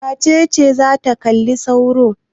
Wace ce za ta kalli sauro?